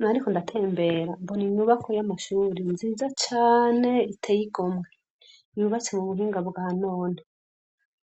Nariko ndatembera mbona inyubako y'amashuri nziza cane iteye igomwe, yubatse mu buhunga bwa none.